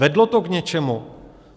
Vedlo to k něčemu?